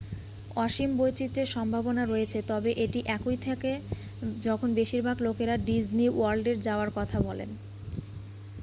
"অসীম বৈচিত্রের সম্ভাবনা রয়েছে তবে এটি একই থাকে যখন বেশিরভাগ লোকেরা "ডিজনি ওয়ার্ল্ডে যাওয়ার" কথা বলেন।